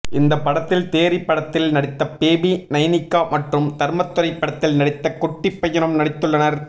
இந்த படத்தில் தேறி படத்தில் நடித்த பேபி நைனிகா மற்றும் தர்மதுரை படத்தில் நடித்த குட்டி பையனும் நடித்துள்ளனர்